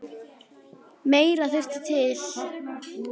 Meira þurfi til.